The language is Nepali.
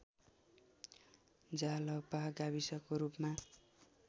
जालपा गाविसको रूपमा